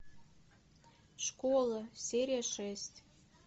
школа серия шесть